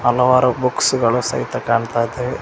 ಹಲವಾರು ಬುಕ್ಸ್ ಗಳು ಸಹಿತಾ ಕಾಣ್ತಾ ಇದಾವೆ.